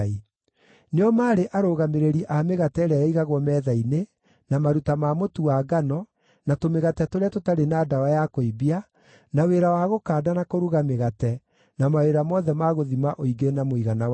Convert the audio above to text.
Nĩo maarĩ arũgamĩrĩri a mĩgate ĩrĩa yaigagwo metha-inĩ, na maruta ma mũtu wa ngano, na tũmĩgate tũrĩa tũtarĩ na ndawa ya kũimbia, na wĩra wa gũkanda na kũruga mĩgate, na mawĩra mothe ma gũthima ũingĩ na mũigana wa indo.